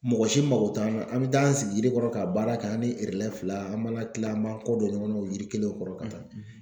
Mɔgɔ si mago t'an na an be taa an sigi yiri kɔrɔ ka baara kɛ an ni fila an b'an ka kila an b'an kɔ don ɲɔgɔn na o yiri kelen kɔrɔ ka taa